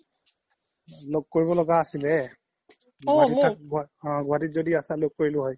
ল্'গ কৰিব লগা আছিলে অ গুৱাহাতিত য্দি আছা ল্'গ কৰিলো হয়